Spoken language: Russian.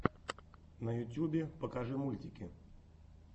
на ютюбе покажи мультики